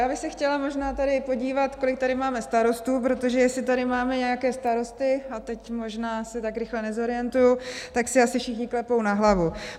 Já bych se chtěla možná tady podívat, kolik tady máme starostů, protože jestli tady máme nějaké starosti, a teď možná se tak rychle nezorientuji, tak si asi všichni klepou na hlavu.